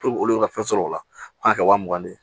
olu bɛ ka fɛn sɔrɔ o la f'a ka kɛ wa mugan de ye